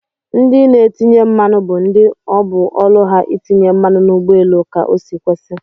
Ndi n'etinye mmanụ bu ndi obu ọlụ ha itinye mmanụ n'ugbọ elu ka osi kwesi.